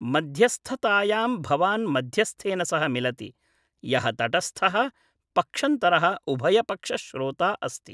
मध्यस्थतायां भवान् मध्यस्थेन सह मिलति, यः तटस्थः पक्षन्तरः उभयपक्ष श्रोता अस्ति।